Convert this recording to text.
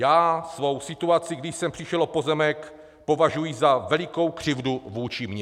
Já svou situaci, když jsem přišel o pozemek, považuji za velikou křivdu vůči mně."